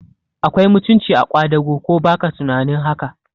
Akwai mutunci a kwadago, ko baka tunanin haka?